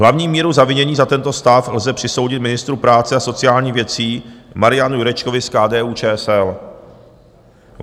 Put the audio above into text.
Hlavní míru zavinění za tento stav lze přisoudit ministru práce a sociálních věcí Marianu Jurečkovi z KDU-ČSL.